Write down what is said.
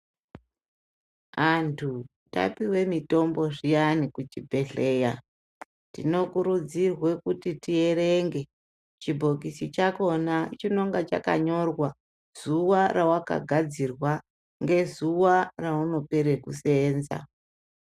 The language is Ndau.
Antu tapiwe mitombo zviyani kuchibhedhlera tinokurudzirwa kuti tierenge chibhokisi chakhona chinonga chakanyorwa zuwa rewakagadzirwa, ngezuwa reunopere kuseenza.